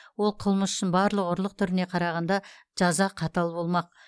ол қылмыс үшін барлық ұрлық түріне қарағанда жаза қатал болмақ